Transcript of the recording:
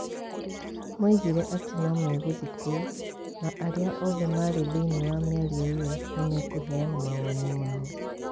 Moigire atĩ no megũthiĩ kuo na arĩa othe marĩ thĩiniĩ wa mĩario ĩyo nĩ mekũheana mawoni mao.